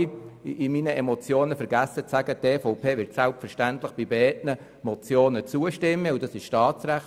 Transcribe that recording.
In meiner Emotion habe ich vorher vergessen zu sagen, dass die EVP selbstverständlich beiden Motionen zustimmt, denn das ist Staatsrecht.